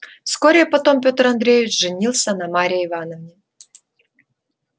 вскоре потом петр андреевич женился на марье ивановне